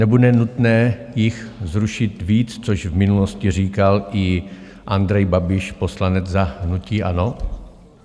Nebude nutné jich zrušit víc, což v minulosti říkal i Andrej Babiš, poslanec za hnutí ANO?